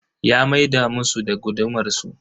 Ya maida musu da gudumar su.